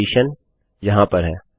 फिर कंडीशन यहाँ पर है